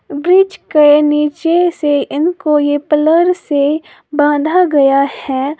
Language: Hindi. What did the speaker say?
ब्रिज के नीचे से इनको ये पिलर से बांधा गया है।